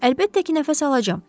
Əlbəttə ki, nəfəs alacam.